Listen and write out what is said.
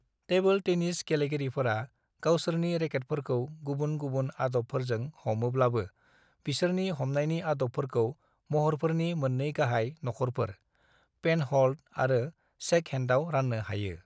"Table tennis गेलेगिरिफोरा गावसोरनि रेकेटफोरखौ गुबुन-गुबुन आदबफोरजों हमोब्लाबो, बिसोरनि हमनायनि आदबफोरखौ महरफोरनि मोन्नै गाहाय नखरफोर, पेनह'ल्ड आरो शेकहेण्डआव रान्नो हायो।"